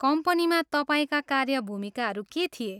कम्पनीमा तपाईँका कार्य भूमिकाहरू के थिए?